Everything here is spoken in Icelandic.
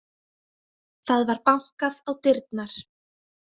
Það var bankað á dyrnar.